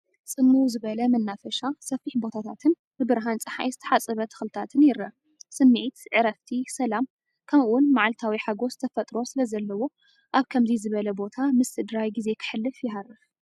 ጽምው ዝበለ መናፈሻ፡ ሰፊሕ ቦታታትን ብብርሃን ጸሓይ ዝተሓጽበ ተኽልታትን ይርአ። ስምዒት፡ ዕረፍቲ፡ ሰላም፡ ከምኡ’ውን መዓልታዊ ሓጐስ ተፈጥሮ ስለዘለዎ ኣብ ከምዚ ዝበለ ቦታ ምስ ስድራይ ጊዜይ ከሕልፍ ይሃርፍ፡፡።